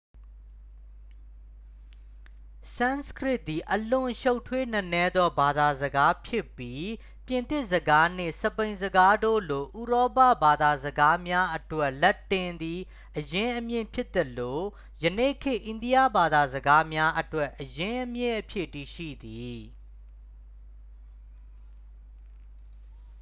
ဆန်စကရစ်သည် အလွန်ရှုပ်ထွေးနက်နဲသော ဘာသာစကားဖြစ်ပြီး ပြင်သစ်စကားနှင့် စပိန်စကားတို့လို ဥရောပဘာသာစကားများအတွက် လက်တင်သည် အရင်းအမြစ်ဖြစ်သလို ယနေ့ခေတ် အိန္ဒိယဘာသာစကားများအတွက် အရင်းအမြစ်အဖြစ် တည်ရှိသည်